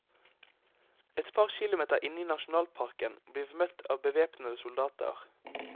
Et par kilometer inne i nasjonalparken blir vi møtt av bevæpnede soldater.